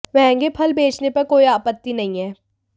महंगे फल बेचने पर कोई आपत्ति नहीं है